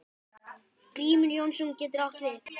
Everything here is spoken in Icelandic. Grímur Jónsson getur átt við